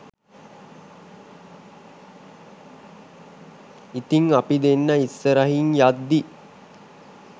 ඉතිං අපි දෙන්නා ඉස්සරහින් යද්දී